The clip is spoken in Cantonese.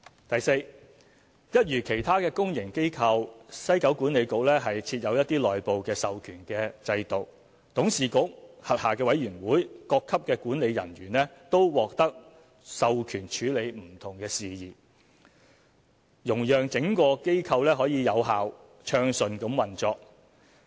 第四，一如其他公營機構，西九管理局設有內部授權制度，董事局、轄下委員會、各級管理人員均獲授權處理不同事宜，容讓整個機構有效、暢順地運作。